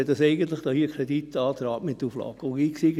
Ich sehe dies eigentlich als Kreditantrag mit Auflage.